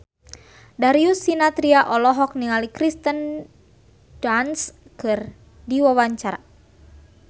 Darius Sinathrya olohok ningali Kirsten Dunst keur diwawancara